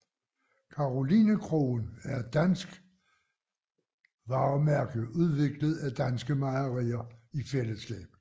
Karolinekoen er et dansk varemærke udviklet af danske mejerier i fællesskab